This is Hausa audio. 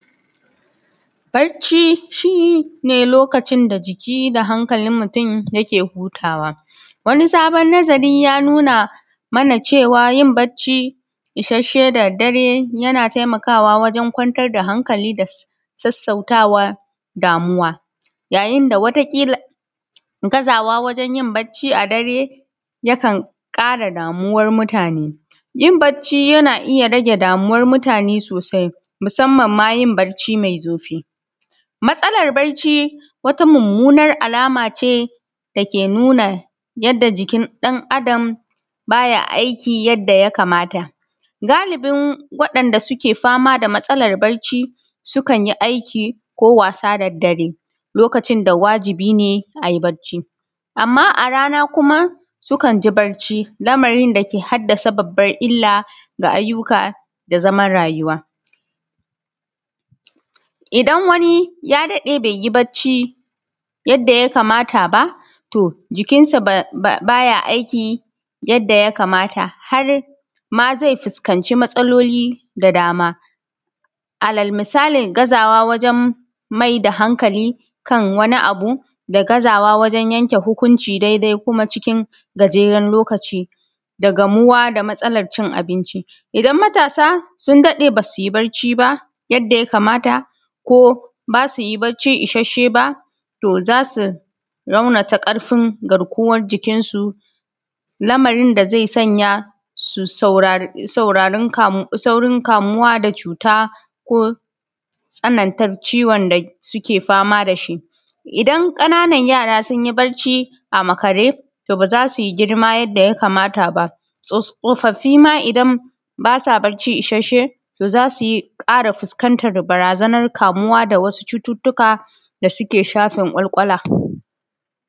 Barci shi ne lokacin da jiki da hankalin mutum yake hutawa, wani sabon nazari ya nuna mana cewa, yin barci isasshe da daddare yana taimakawa wajen kwantar da hankali da sassauta wa damuwa. Yayin da wata ƙila… gazawa wajen yin barci a dare, yakan ƙara damuwar mutane. Yin barci yana iya rage damuwar mutane sosai, musamman ma yin barci mai zurfi. Matsalar barci wata mummunar alama ce da ke nuna yadda jikin ɗan Adam ba ya aiki yadda ya kamata. Galubin waɗanda suke fama da matsalar barci, sukan yi aiki ko wasa da daddare, lokacin da wajibi ne a yi barci. Amma a rana kuma sukan ji barci, lamarin da ke haddasa babbar illa ga ayyuka da zaman rayuwa. Idan wani ya daɗe bai yi barci yadda ya kamata ba, to jikinsa ba ya aiki yadda ya kamata, har ma zai fuskanci matsaloli da dama. Alal misali, gazawa wajen mai da hankali kan wani abu da gazawa wajen yanke hukunci daidai kuma cikin gajeren lokaci da gamuwa da matsalar cin abinci. Idan matasa sun daɗe ba su yi barci ba, yadda ya kamata, ko ba su yi barci isasshe ba, to za su raunata ƙarfin garkuwar jikinsu, lamarin da zai sanya su saurin kamuwa da cuta ko tsanantar ciwon da suke fama da shi. Idan ƙananan yara sun yi barci a makare, to ba za su yi girma yadda ya kamata ba. Tsofaffi ma idan ba sa barci isasshe, to za su yi ƙara fuskantar barazanar kamuwa da wasu cututtuka da suke shafin ƙwaƙwalwa.